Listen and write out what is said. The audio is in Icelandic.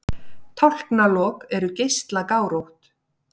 Tálknalok eru geislagárótt.